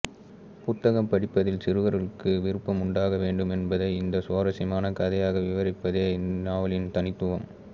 புத்தகம் படிப்பதில் சிறுவர்களுக்கு விருப்பம் உண்டாக வேண்டும் என்பதை ஒரு சுவாரஸ்யமான கதையாக விவரிப்பதே இந்நாவலின் தனித்துவம்